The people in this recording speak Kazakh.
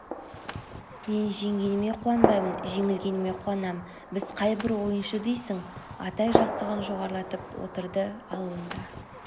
мен жеңгеніме қуанбаймын жеңілгеніме қуанам біз қай бір ойыншы дейсің атай жастығын жоғарылатып отырды ал онда